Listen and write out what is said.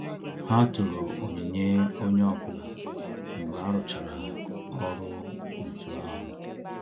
Ha toro onyinye onye ọbụla mgbe aruchara ọrụ otu ahu